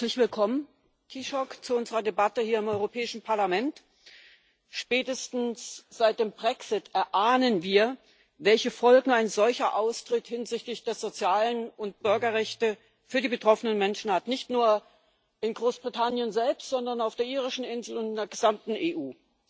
Herzlich willkommen, Taoiseach, zu unserer Debatte hier im Europäischen Parlament! Spätestens seit dem Brexit erahnen wir, welche Folgen ein solcher Austritt hinsichtlich der sozialen Rechte und Bürgerrechte für die betroffenen Menschen hat nicht nur in Großbritannien selbst, sondern auf der irischen Insel und in der gesamten EU.